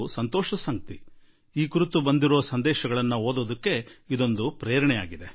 ನನ್ನ ಪಾಲಿಗಂತೂ ಈ ಸಂದೇಶ ಓದುವುದೂ ಕೂಡಾ ಒಂದು ರೀತಿಯಲ್ಲಿ ದೊಡ್ಡ ಸ್ಫೂರ್ತಿಯ ಕಾರಣವಾಗಿಬಿಟ್ಟಿದೆ